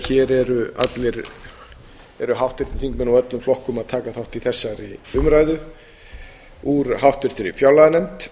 hér eru allir háttvirtir þingmenn úr öllum flokkum að taka þátt í þessari umræðu úr háttvirtri fjárlaganefnd